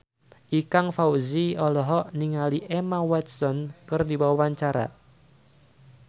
Ikang Fawzi olohok ningali Emma Watson keur diwawancara